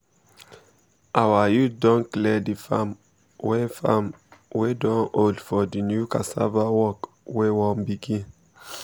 our youth don clear the farm wey farm wey don old for the new cassava work wey won begin